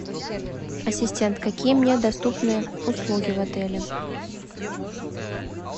ассистент какие мне доступны услуги в отеле